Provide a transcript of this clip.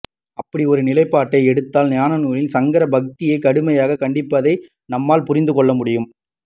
அப்படி ஒரு நிலைப்பாட்டை எடுத்தால் ஞானநூல்களில் சங்கரர் பக்தியைக் கடுமையாகக் கண்டிப்பதை நம்மால் புரிந்துகொள்ளமுடியும்